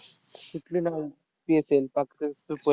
कुठली ना PSL पाटकर